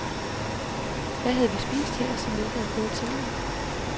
Hvad havde vi spist her, som vi ikke havde fået tidligere?